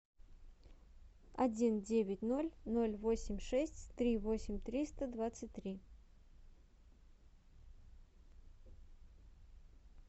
один девять ноль ноль восемь шесть три восемь триста двадцать три